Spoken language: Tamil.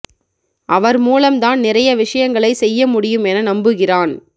அவர் மூலம் தான் நிறைய விஷயங்களைச் செய்ய முடியும் என நம்புகிறான்